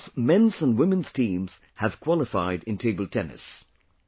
Both men’s and women’s teams have qualified in table tennis